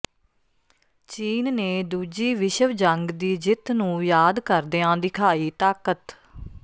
ਚੀਨ ਨੇ ਦੂਜੀ ਵਿਸ਼ਵ ਜੰਗ ਦੀ ਜਿੱਤ ਨੂੰ ਯਾਦ ਕਰਦਿਆਂ ਦਿਖਾਈ ਤਾਕਤ